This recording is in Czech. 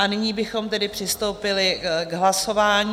A nyní bychom tedy přistoupili k hlasování.